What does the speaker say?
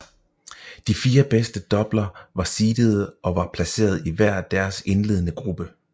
De fire bedst doubler var seedede og var placeret i hver deres indledende gruppe